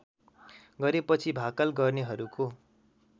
गरेपछि भाकल गर्नेहरूको